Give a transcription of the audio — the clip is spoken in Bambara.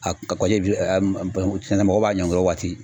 A kɔji bananku sɛnɛ mɔgɔw b'a ɲɔngiri o waati.